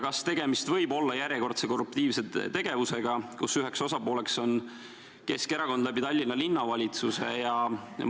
Kas tegemist võib olla järjekordse korruptiivse tegevusega, kus üheks osapooleks on Keskerakond Tallinna Linnavalitsuse kaudu?